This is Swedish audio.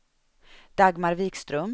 Dagmar Wikström